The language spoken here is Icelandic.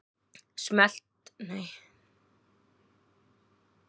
Ég varð að flytja út en átti enga peninga og var enn óvinnufær.